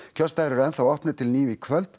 kjörstaðir eru opnir til níu í kvöld